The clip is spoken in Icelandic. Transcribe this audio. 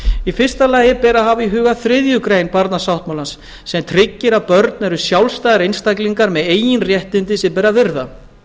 í fyrsta lagi ber að hafa í huga þriðju grein barnasáttmálans sem tryggir að börn eru sjálfstæðir einstaklingar með eigin réttindi sem ber að virða